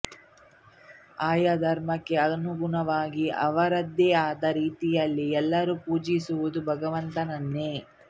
ಆಯಾ ಧರ್ಮಕ್ಕೆ ಅನುಗುಣವಾಗಿ ಅವರದೇ ಆದ ರೀತಿಯಲ್ಲಿ ಎಲ್ಲರೂ ಪೂಜಿಸುವುದು ಭಗವಂತನನ್ನೇ